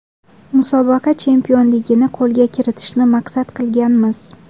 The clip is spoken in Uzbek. Musobaqa chempionligini qo‘lga kiritishni maqsad qilganmiz.